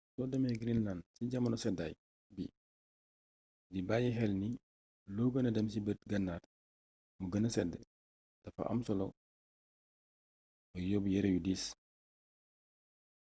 soo demee greenland ci jamono seddaay bi di bàyyi xel ni loo gëna dem ci bët gannaar mu gëna sedd dafa am solo nga yóbb yere yu diis